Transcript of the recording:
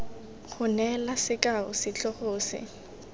go neela sekao setlhogo se